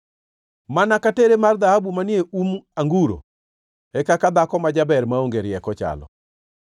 Mana ka tere mar dhahabu manie um anguro, e kaka dhako ma jaber maonge rieko chalo.